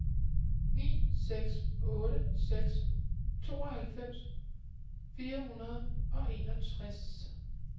ni seks otte seks tooghalvfems fire hundrede og enogtres